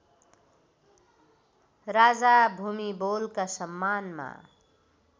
राजा भूमिबोलका सम्मानमा